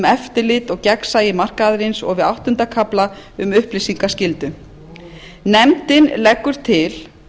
eftirlit og gagnsæi markaðarins og við áttunda kafla um upplýsingaskyldu nefndin leggur til